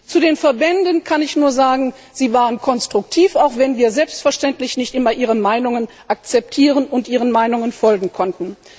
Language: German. Zu den Verbänden kann ich nur sagen, sie waren konstruktiv, auch wenn wir selbstverständlich nicht immer ihre Meinungen akzeptieren und ihren Meinungen folgen konnten.